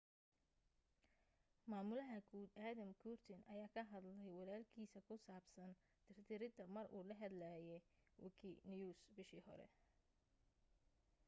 maamulaha guud adam cuerden ayaa ka hadlay walalkiisa ku saabsan tir tirida mar uu la hadlaye wikinews bishii hore